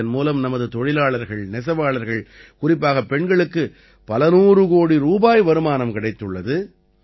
இதன் மூலம் நமது தொழிலாளர்கள் நெசவாளர்கள் குறிப்பாகப் பெண்களுக்கு பல நூறு கோடி ரூபாய் வருமானம் கிடைத்துள்ளது